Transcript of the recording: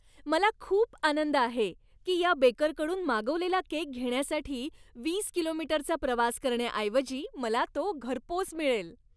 मला खूप आनंद आहे की या बेकरकडून मागवलेला केक घेण्यासाठी वीस किलोमीटरचा प्रवास करण्याऐवजी मला तो घरपोच मिळेल.